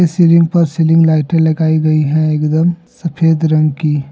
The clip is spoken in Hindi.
सीलिंग पर सीलिंग लाइटे लगाई गई है एकदम सफेद रंग की।